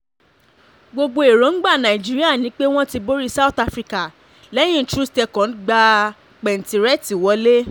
gbogbo èròǹgbà nàìjíríà ni pé wọ́n ti borí south africa lẹ́yìn troost ekong gbá pẹ̀ǹtírẹ̀tì wọ̀lẹ̀